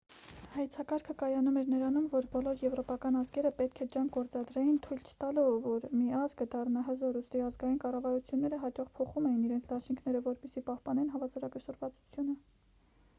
հայեցակարգը կայանում էր նրանում որ բոլոր եվրոպական ազգերը պետք է ջանք գործադրեին թույլ չտալու որ մի ազգը դառնա հզոր ուստի ազգային կառավարությունները հաճախ փոխում էին իրենց դաշինքները որպեսզի պահպանեն հավասարակշռվածությունը